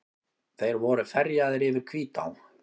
Þeir voru ferjaðir yfir Hvítá.